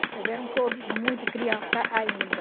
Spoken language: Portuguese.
Eles eram todos muito criança ainda.